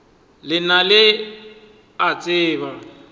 le lena le a tseba